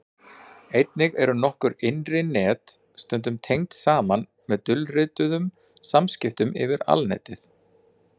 einnig eru nokkur innri net stundum tengd saman með dulrituðum samskiptum yfir alnetið